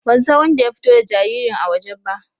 Ban san wanɗa ya fito da jaririn a waje ba.